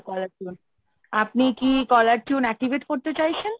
caller tune আপনি কি caller tune activate করতে চাইছেন?